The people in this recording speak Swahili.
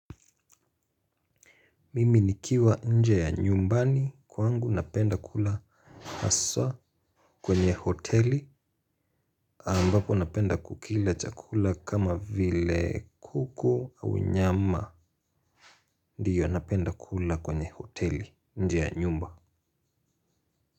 Mimi nikiwa nje ya nyumbani kwangu napenda kula aswa kwenye hoteli ambapo napenda kukila chakula kama vile kuko au nyama ndiyo napenda kula kwenye hoteli nje ya nyumba.